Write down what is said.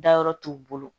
Dayɔrɔ t'u bolo